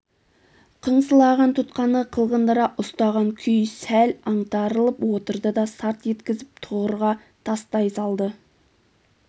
қыңсылаған тұтқаны қылғындыра ұстаған күй сәл аңтарылып отырды да сарт еткізіп тұғырға тастай салды